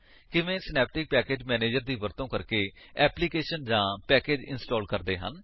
ਕਿਵੇਂ Synaptic package manager ਦੀ ਵਰਤੋ ਕਰਕੇ ਐਪਲੀਕੇਸ਼ਨ ਜਾਂ ਪੈਕੇਜ ਇੰਸਟਾਲ ਕਰਦੇ ਹਨ